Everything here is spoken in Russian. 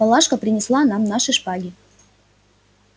палашка принесла нам наши шпаги